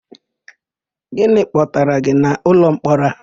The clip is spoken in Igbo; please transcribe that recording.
Gịnị kpọbatara gị n'ụlọmkpọrọ a?